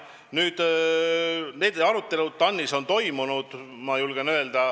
Nüüd, need arutelud TAN-is on toimunud.